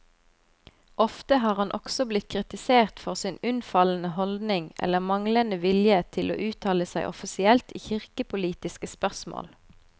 Ofte har han også blitt kritisert for sin unnfallende holdning eller manglende vilje til å uttale seg offisielt i kirkepolitiske spørsmål.